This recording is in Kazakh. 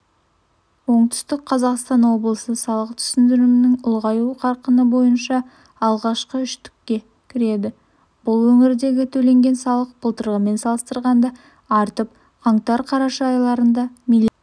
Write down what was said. оңтүстік қазақстан облысы салық түсімдерінің ұлғаю қарқыны бойынша алғашқы үштікке кіреді бұл өңірдегі төленген салық былтырғымен салыстырғанда артып қаңтар-қараша айларында миллиард